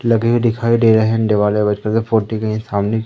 लगे दिखाई दे रहे है हैंड वाले फोर्टी नाइन सामने--